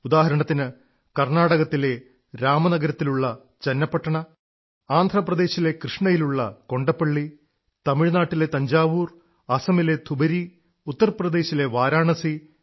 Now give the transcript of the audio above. ഉദാഹരണത്തിന് കർണ്ണാടകത്തിലെ രാമനഗരത്തിലുള്ള ചന്നപ്പട്ടണ ആന്ധ്രപ്രദേശിലെ കൃഷ്ണയിലുള്ള കൊണ്ടപ്പള്ളി തമിഴ്നാട്ടിലെ തഞ്ചാവൂർ അസമിലെ ധുബരി ഉത്തർപ്രദേശിലെ വാരാണസി